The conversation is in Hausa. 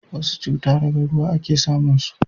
wasu cuta daga ruwa a ke samun su